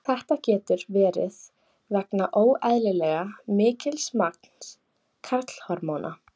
Þetta getur verið vegna óeðlilega mikils magns karlhormóna.